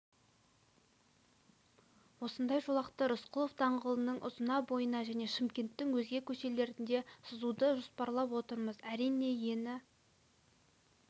осындай жолақты рысқұлов даңғылының ұзына бойына және шымкенттің өзге көшелерінде сызуды жоспарлап отырмыз әрине ені